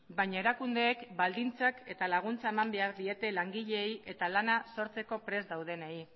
baina erakundeek baldintzak eta laguntzak eman behar diete langileei eta lana sortzeko prest daudenei